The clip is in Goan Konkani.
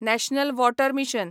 national water mission